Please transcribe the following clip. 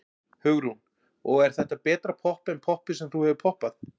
Hugrún: Og er þetta betra popp en poppið sem þú hefur poppað?